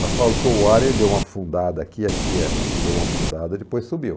Mas faltou o ar, ele deu uma afundada aqui, aqui, ele deu uma afundada e depois subiu.